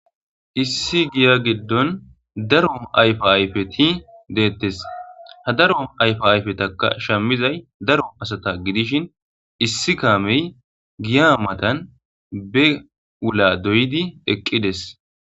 issi giya giddon daro ayfo ayfeti deettes ha daro ayfo ayfetaka shammizay daro asata gidishin issi kaamey giya matan be ula doydi eqqides.